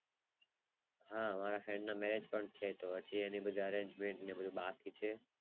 હા હા એને Marriage પણ છે તો એનું બધું Engage ment ને એવું બધું બાકી છે.